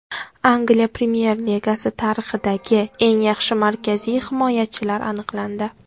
Angliya Premyer Ligasi tarixidagi eng yaxshi markaziy himoyachilar aniqlandi.